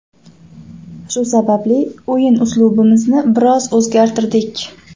Shu sababli o‘yin uslubimizni biroz o‘zgartirdik.